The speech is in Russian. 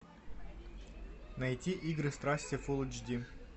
найти игры страсти фулл эйч ди